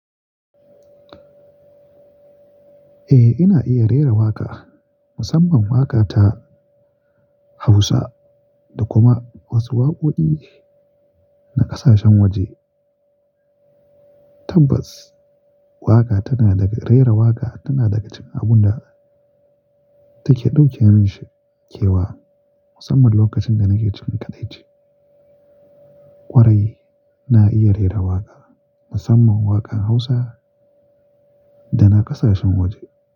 Eh, ina iya rera waƙa, musamman waƙa ta Hausa da kuma wasu waƙoƙi na ƙasashen waje. Tabbas, waƙa tana daga, rera waƙa tana daga cikin abun da take ɗauke min kewa musamman lokacin da nake cikin kaɗaici. Kwarai, na iya rera waƙa musamman waƙan Hausa da na ƙasashen waje.